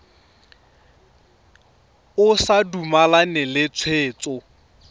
o sa dumalane le tshwetso